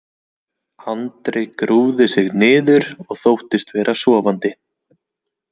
Andri grúfði sig niður og þóttist vera sofandi.